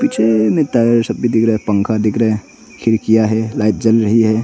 पंखा दिख रहा है खिड़कियां है लाइट जल रही है।